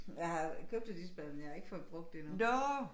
Jeg har købt et isbad men jeg har ikke fået brugt det endnu